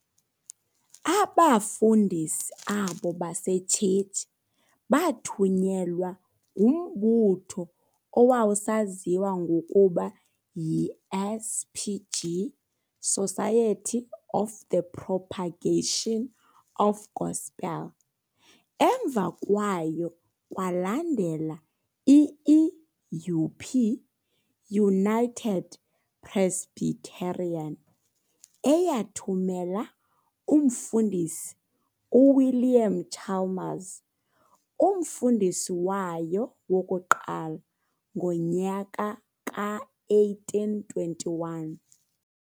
Abafundisi abo basetshetshi baathunyelwa ngumbutho owawusaziwa ngokuba yi-S.P.G, Society of the propagation of gospel. Emva kwayo kwalandela i-i.U.P, United Presbyterian, eyathumela umFundisi uWilliam Chalmers, umfundisi wayo wokuqala, ngonyaka ka-1821.